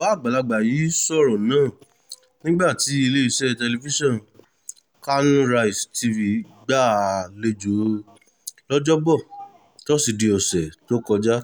bàbá àgbàlagbà yìí sọ̀rọ̀ náà nígbà tí iléeṣẹ́ tẹlifíṣọ̀n kanarise tv gbà á álejò lọ́jọ́bọ́ tosidee ọ̀sẹ̀ tó kọjá